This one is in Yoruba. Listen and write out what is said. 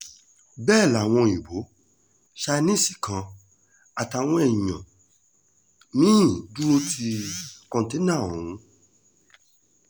bẹ́ẹ̀ làwọn òyìnbó chinesi kan àtàwọn èèyàn mí-ín dúró ti kọ́tẹ́ná ọ̀hún